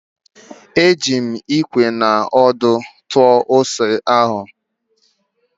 Eji m Ikwe na ọdụ tụọ ose ahụ.